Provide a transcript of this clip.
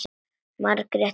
Margrét er farin.